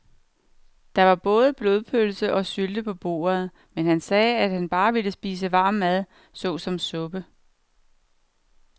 Der var både blodpølse og sylte på bordet, men han sagde, at han bare ville spise varm mad såsom suppe.